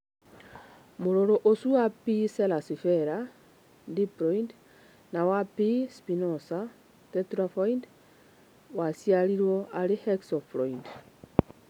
Mũrũrũ ũcio wa P. cerasifera (diploid) na wa P. spinosa (tetraploid) waciarirũo arĩ hexaploid.